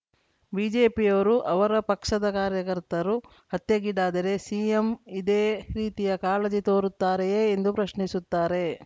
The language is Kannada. ಬಿಜೆಪಿಯವರು ಅವರ ಪಕ್ಷದ ಕಾರ್ಯಕರ್ತರು ಹತ್ಯೆಗೀಡಾದರೆ ಸಿಎಂ ಇದೇ ರೀತಿಯ ಕಾಳಜಿ ತೋರುತ್ತಾರೆಯೇ ಎಂದು ಪ್ರಶ್ನಿಸುತ್ತಾರೆ